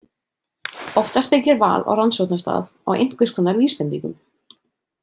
Oftast byggir val á rannsóknarstað á einhverskonar vísbendingum.